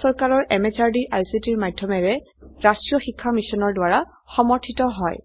ই ভাৰত চৰকাৰৰ MHRDৰ ICTৰ মাধয়মেৰে ৰাস্ত্ৰীয় শিক্ষা মিছনৰ দ্ৱাৰা সমৰ্থিত হয়